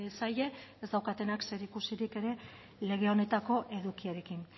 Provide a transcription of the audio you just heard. zaie ez daukatenak zerikusirik ere lege honetako edukiarekin